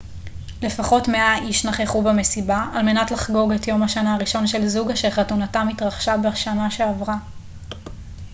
לפחות 100 אנשים נכחו במסיבה על מנת לחגוג את יום השנה הראשון של זוג אשר חתונתם התרחשה בשנה שעברה